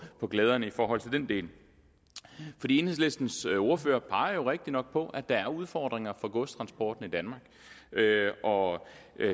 glæderne i forhold til den del enhedslistens ordfører peger jo rigtigt nok på at der er udfordringer for godstransporten i danmark og